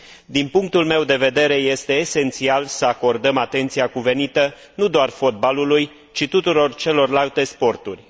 Din punctul meu de vedere, este esențial să acordăm atenția cuvenită nu doar fotbalului, ci tuturor celorlalte sporturi.